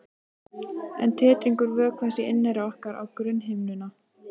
En titringur vökvans í inneyra orkar á grunnhimnuna.